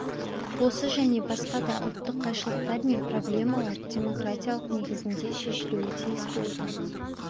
осы және басқа да ұлттық қайшылықтар мен проблемалар демократиялық негізде шешілуі тиіс болды